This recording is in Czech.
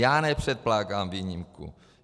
Já nepředkládám výjimku.